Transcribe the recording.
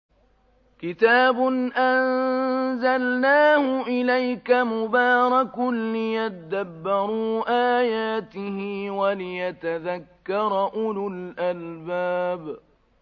كِتَابٌ أَنزَلْنَاهُ إِلَيْكَ مُبَارَكٌ لِّيَدَّبَّرُوا آيَاتِهِ وَلِيَتَذَكَّرَ أُولُو الْأَلْبَابِ